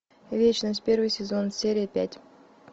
вечность первый сезон серия пять